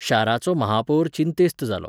शाराचो महापौर चिंतेस्त जालो.